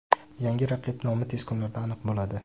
Yangi raqib nomi tez kunlarda aniq bo‘ladi.